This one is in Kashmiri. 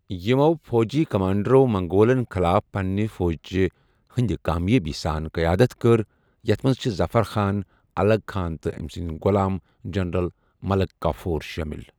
یِمَو فوٗجی کمانڈرَو منگولَن خلاف پنِنہِ فوجِچہِ ہِنٛدِ کامیٲبی سان قیادت کٔرِ ، یتَھ منٛز چھِ ظفر خان، الغ خان تہٕ أمۍ سٕنٛدۍ غۄلام جنرل ملک کافور شٲمِل۔